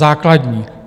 Základní!